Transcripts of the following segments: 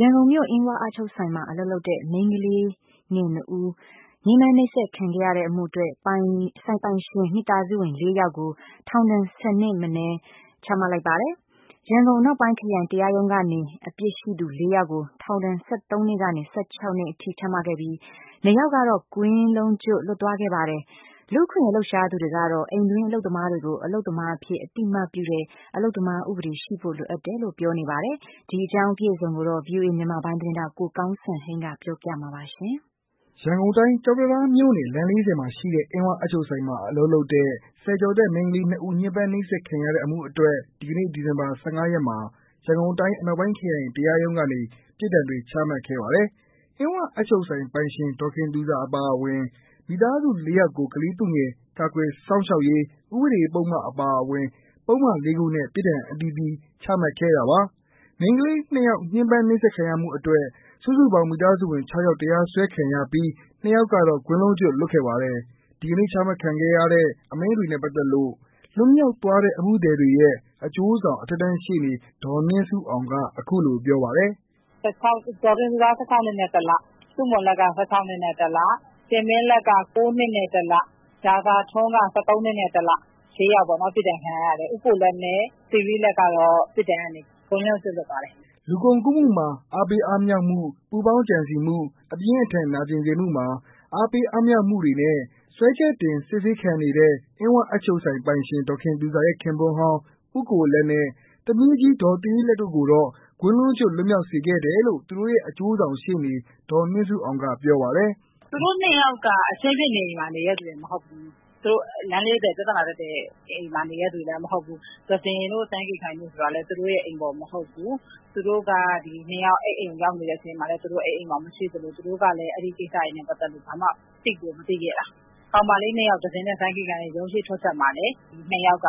ရန်ကုန်မြို့ အင်းဝအပ်ချုပ်ဆိုင်မှာ အလုပ်လုပ်တဲ့ မိန်းကလေး၂ ဦး ညှင်းပန်းနှိပ်စက်ခံရတဲ့အမှုအတွက် ဆိုင်ပိုင်ရှင် မိသားစုဝင် ၄ ယောက်ကို ထောင်ဒဏ် ၁၀ နှစ်ထက်မနည်း ချမှတ်လိုက်ပါတယ်။ ရန်ကုန်အနောက်ပိုင်းခရိုင်တရားရုံးကနေ အပြစ်ရှိသူ ၄ ယောက်ကို ထောင်ဒဏ် ၁၃ နှစ်ကနေ ၁၆ နှစ်အထိချမှတ်ခဲ့ပြီး။ ၂ ယောက်ကတော့ ကွင်းလုံးကြွတ်လွတ်သွားခဲ့ပါတယ်။ လူ့အခွင့်အရေးလှုပ်ရှားသူတွေကတော့ အိမ်တွင်းအလုပ်သမားတွေကို အလုပ်သမားအဖြစ် အသိအမှတ်ပြုတဲ့ အလုပ်သမား ဥပဒေရှိဖို့လိုအပ်တယ်လို့ ပြောနေကြပါတယ်။အပြည့်အစုံကိုတော့ ကိုကောင်းစံဟိန်းကပြောပြပေးမှာပါ။ ရန်ကုန်တိုင်း ကျောက်တံတားမြို့နယ် လမ်း ၄၀ မှာရှိတဲ့ အင်းဝအပ်ချုပ်ဆိုင်မှာ အလုပ်လုပ်တဲ့ ဆယ်ကျော်သက် မိန်းကလေး ဦး ညှင်းပန်းနှိပ်စက်ခံခဲ့ရတဲ့အမှုအတွက် ဒီကနေ့ ဒီဇင်ဘာ ၁၅ ရက်နေ ရန်ကုန်အနောက်ပိုင်းခရိုင်တရားရုံးကနေ ပြစ်ဒဏ်တွေချမှတ်ခဲ့ပါတယ်။ အင်းဝအပ်ချုပ်ဆိုင်ပိုင်ရှင် ဒေါ်တင်သူဇာအပါအဝင် မိသားစုဝင် ၄ ယောက်ကို ကလေးသူငယ် ကာကွယ်စောင့်ရှောက်ရေး ဥပဒေပုဒ်မအပါအဝင် ပုဒ်မလေးခုနဲ့ ပစ်ဒဏ်အသီးသီး ချမှတ်ခဲ့တာပါ။ မိန်းကလေး ၂ ယောက် ညှင်းပမ်းနှိပ်စက်ခံရမှုအတွက် စုစုပေါင်း မိသားစုဝင် ၆ ယောက် တရားစွဲခံရပြီး ၂ ယောက်ကတော့ ကွင်းလုံးကြွတ်လွတ်ခဲ့ပါတယ်။ ဒီကနေ့ ချမှတ်ခဲ့တဲ့ အမိန့်တွေနဲ့ပါတ်သက်လို့ လွတ်မြောက်သွားတဲ့ အမှုသည်တွေရဲ့ အကျိူးဆောင် အထက်တန်းရှေ့နေ ဒေါ်နှင်းဆုအောင်ကပြောပါတယ်။ " ဒေါ်တင်သူဇာ ၁၆ နှစ်နဲ့ ၁ လ၊ ဆုမွန်လတ်က ၁၆ နှစ်နဲ့ ၁ လ၊ တင်မင်းလတ်က ၉ နှစ်နဲ့ ၁ လ ၊ ရာဇာထွန်းက ၁၃ နှစ်နဲ့ ၁ လ ။ ၄ယောက်ပေါ့နော် ပြစ်ဒဏ်ခံရတယ်။ ဦးကိုလတ်နဲ့ သီရိလတ်ကတော့ ပြစ်ဒဏ်ကနေ ကွင်းလုံးကျွတ်လွှတ်ပါတယ်။" လူကုန်ကူးမှုတွင် အားပေးအားမြှောက်မှု၊ပူးပေါင်းကြံစည်မှု၊အပြင်းအထန်နာကျင်စေမှုမှာ အားပေးအားမြှောက်ပြုမှုတို့နဲ့ စွဲချက်တင်စစ်ဆေးခံနေတဲ့ အင်းဝအပ်ချုပ်ဆိုင်ပိုင်ရှင် ဒေါ်ခင်သူဇာရဲ့ ခင်ပွန်းဟောင်း ဦးကိုလတ်နဲ့ သမီးကြီးဒေါ်သီရိလတ်တို့ကိုတော့ ကွင်းလုံးကျွတ်လွတ်မြောက်စေခဲ့တယ်လို့ သူတို့ရဲ့အကျိုးဆောင်ရှေ့နေ ဒေါ်နှင်းဆုအောင်ကပြောပါတယ်။ "သူတို့ ၂ ယောက်က အခင်းဖြစ်နေအိမ်မှာ နေတဲ့လူတွေမဟုတ်ဘူး။ လမ်း ၄၀ ပြဿနာတက်တဲ့အိမ်မှာ နေတဲ့လူတွေမဟုတ်ဘူး။သဇင်တို့ စန်းကေခိုင်တို့ဆိုတာလည်း သူတို့အိမ်ဖော်မဟုတ်ဘူး။ သူတို့က အခင်းဖြစ်နေတဲ့အချိန်မှာ သူတို့ အဲဒီမှာမရှိသလို သူတို့ကလည်း အဲဒီကိစ္စတွေနဲ့ ပတ်သက်လို့ ဘာမှကို သိကိုမသိခဲ့တာ။ ကောင်မလေး ၂ ယောက် သဇင်တို့ စန်းကေခိုင်တို့ ရုံးအရှေ့ထွက်ချက်မှာလည်း ဒီ ၂ ယောက်က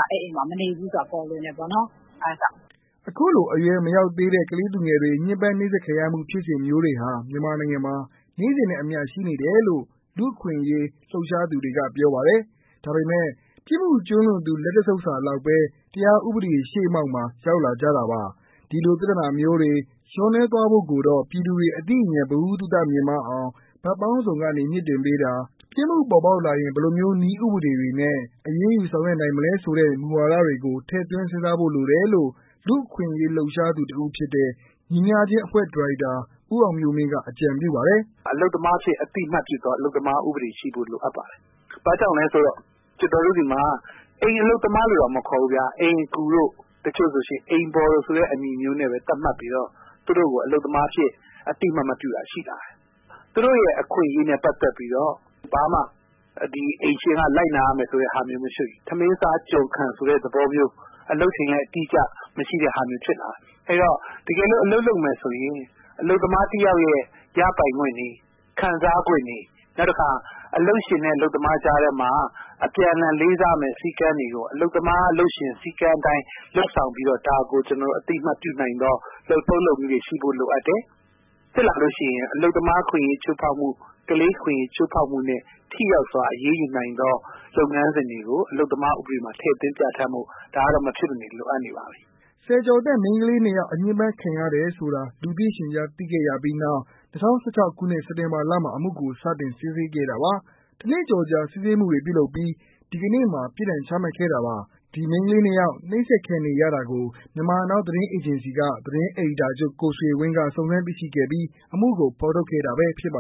မနေဘူးဆိုတာ ပေါ်လွင်တယ်ပေါ့နော် အဲဒါကြောင့်။" အခုလို အရွယ်မရောက်သေးတဲ့ ကလေးသူငယ်တွေ ညှင်းပန်းနှိပ်စက်ခံရမှုဖြစ်စဉ်မျိုးတွေဟာ မြန်မာနိုင်ငံမှာ နေ့စဉ်နဲ့အမျှရှိနေတယ်လို့ လူ့အခွင့်အရေး လှုပ်ရှားသူတွေက ပြောပါတယ်။ ဒါပေမဲ့ ပြစ်မှုကျူးလွန်သူ လက်တစ်ဆုပ်စာလောက်ဘဲ တရားဥပဒေရှေ့မှောက်မှာ ရောက်လာကြတာပါ။ဒီလို ပြသနာမျိုးတွေ လျော့နည်းသွားဖို့ကိုတော့ ပြည်သူတွေ အသိဉာဏ် ဗဟုသုတ မြင့်မားအောင် ဘက်ပေါင်းစုံကနေ မြှင့်တင်ပေးတာ ၊ ပြစ်မှုပေါ်ပေါက်လာရင် ဘယ်လိုမျိုးနည်းဥပဒေတွေနဲ့ အရေးယူဆောင်ရွက်နိုင်မလဲဆိုတဲ့ မူဝါဒတွေကို ထည့်သွင်းစဉ်းစားဖို့လိုတယ်လို့ လူ့အခွင့်အရေးလှုပ်ရှားသူတစ်ဦးဖြစ်တဲ့ ညီမျှခြင်းအဖွဲ့ ဒါရိုက်တာဦးအောင်မျိူးမင်းက အကြံပြုပါတယ်။ "အိမ်တွင်းအလုပ်သမားတွေကို ကျနော်တို့က အသိအမှတ်ပြုသော အလုပ်သမား ဥပဒေရှိဖို့ လိုအပ်ပါတယ်။ ဘာကြောင့်လဲဆိုတော့ ကျနော်တို့တွေမှာ အိမ်အလုပ်သမားလို့တောင်မခေါ်ဘူးခင်ဗျ အိမ်အကူတို့ တချို့ဆိုရင် အိမ်ဖော်ဆိုတဲ့ အမည်မျိုးနဲ့ သတ်မှတ်ပြီးတော့ သူတို့ကို အလုပ်သမားအဖြစ် အသိအမှတ်မပြုတာ ရှိလာတယ်။ အဲဒီတော့ သူတို့အခွင့်အရေးနဲ့ ပတ်သက်ပြီးတော့ ကျနော်တို့ဘာမှ အိမ်ရှင်ကလိုက်နာရမယ်ဆိုတာမျိုးတွေ၊ ထမင်းစား ကျွန်ခံ ဆိုတာမျိုး အလုပ်ချိန်လည်း အတိအကျ မရှိတာမျိုးဖြစ်လာတယ်။ အဲဒီတော့ တကယ်လို့ အလုပ်လုပ်မယ်ဆိုရင် အလုပ်သမားတယောက်ရဲ့ ရပိုင်ခွင့်တွေ ခံစားခွင့်တွေ၊ နောက်တခါ အလုပ်ရှင်နဲ့ အလုပ်သမားကြားထဲမှာ အပြန်အလှန်လေးစားရမယ့် စည်းမျဉ်းတွေကို အလုပ်သမား၊ အလုပ်ရှင် စည်းကမ်းအတိုင်း လုပ်ဆောင်ပြီးတော့ ဒါကို ကျနော်တို့ အသိအမှတ်ပြုနိုင်သော လုပ်ထုံးလုပ်နည်းတွေ ရှိဖို့လိုအပ်တယ်။ ဖြစ်လာလို့ရှိရင် အလုပ်သမားအခွင့်အရေးချိုးဖောက်မှု ၊ ကလေးအခွင့်အရေးချိုးဖောက်မှုနဲ့ ထိရောက်စွာ အရေးယူနိုင်သော လုပ်ငန်းစဉ်တွေကို အလုပ်သမားဥပဒေမှာ ထည့်သွင်းဖော်ပြဖို့ ဒါကတော့ မဖြစ်မနေ လိုအပ်နေပါပြီ။" ဆယ်ကျော်သက်မိန်းကလေး ၂ ယောက် ညှင်ပမ်းခံရတယ်ဆိုတာ လူသိရှင်ကြားသိခဲ့ရပြီးနောက် ၂၀၁၆ ခုနှစ် စက်တင်ဘာလမှာ အမှုကို စတင်စစ်ဆေးခဲ့တာပါ။ တစ်နှစ်ကျော်ကြာ စစ်ဆေးမှုတွေပြုလုပ်ပီး ဒီကနေ့မှာ ပြစ်ဒဏ်ချမှတ်ခဲ့တာပါ။ ဒီမိန်းကလေး ၂ ယောက် နှိပ်စက်ခံနေရတာကို မြန်မာနောင်းသတင်းအေဂျင်စီမှ သတင်း အယ်ဒီတာချုပ် ကိုဆွေဝင်းကစုံစမ်းသိရှိခဲ့ပြီး အမှုကိုဖော်ထုတ်ခဲ့တာဖြစ်ပါ